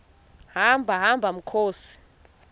hamba hamba mkhozi